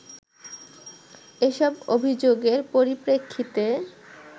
এসব অভিযোগের পরিপ্রেক্ষিতে